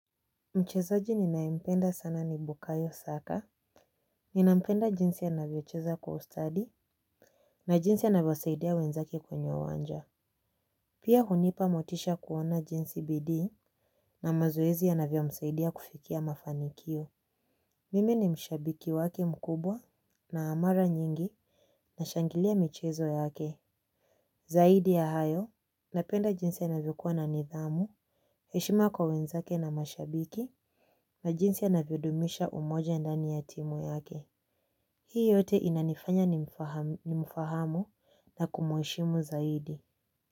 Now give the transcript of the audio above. Mchezaji ninayempenda sana ni bukayo saka. Ninampenda jinsi anavyocheza kwa ustadi. Na jinsi anavyo saidia wenzake kwenye uwanja. Pia hunipa motisha kuona jinsi bidii na mazoezi yanavyo msaidia kufikia mafanikio. Mimi ni mshabiki wake mkubwa. Na mara nyingi, nashangilia michezo yake. Zaidi ya hayo napenda jinsi anavyokuwa na nidhamu. Heshima kwa wenzake na mashabiki na jinsi anvyodumisha umoja ndani ya timu yake. Hii yote inanifanya nimfahamu na kumuheshimu zaidi.